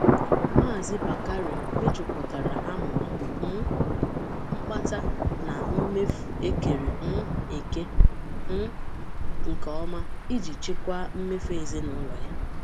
Mazi Bakare mejupụtara amụma um mkpata na mmefu ekere um eke um nke ọma iji chịkwaa mmefu ezinụlọ ya.